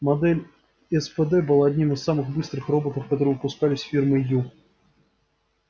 модель спд была одним из самых быстрых роботов которые выпускались фирмой ю